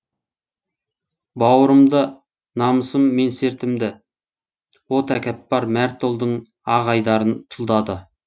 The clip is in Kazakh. бауырымды намысым менсертімді о тәкаппар мәрт ұлдың ақ айдарын тұлдады